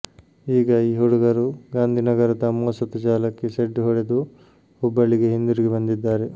ಈಗ ಈ ಹುಡುಗರು ಗಾಂಧಿನಗರದ ಮೋಸದ ಜಾಲಕ್ಕೆ ಸೆಡ್ಡು ಹೊಡೆದು ಹುಬ್ಬಳ್ಳಿಗೆ ಹಿಂದಿರುಗಿ ಬಂದಿದ್ದಾರೆ